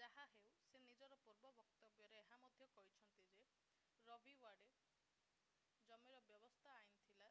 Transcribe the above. ଯାହାହେଉ ସେ ନିଜର ପୂର୍ବ ବକ୍ତବ୍ୟରେ ଏହା ମଧ୍ୟ କହିଛନ୍ତି ଯେ ରୋ ଭି ୱାଡେ ଜମିର ବ୍ୟବସ୍ଥିତ ଆଇନ୍ ଥିଲା